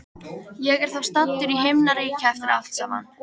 Ég er þá staddur í himnaríki eftir allt saman.